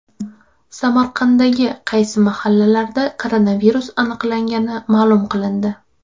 Samarqanddagi qaysi mahallalarda koronavirus aniqlangani ma’lum qilindi.